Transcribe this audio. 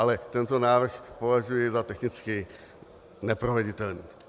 Ale tento návrh považuji za technicky neproveditelný.